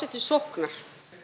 til sóknar